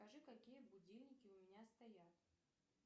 покажи какие будильники у меня стоят